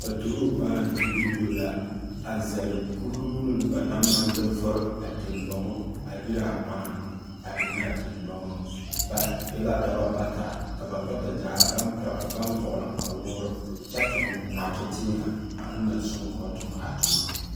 paatoru kpaaŋ tugirubo la, a zɛle kuruu ba naŋ maŋ de vore a teŋgbaŋo a iraa kpaaŋ a ennɛ a teŋgban. Ba e la daba bata. Ka ba bata gyaa baŋ pɛg baŋ vɔgle kpawoore kyɛ toŋ naate-tẽẽhɛ aŋ na soŋ kɔɔ toŋ a toma.